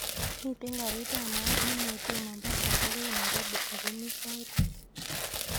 Miten garit bab mat nengeten mombasa agoi nairobi ako mi sait ata